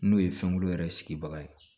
N'o ye fɛnko yɛrɛ sigibaga ye